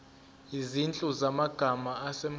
izinhlu zamagama asemqoka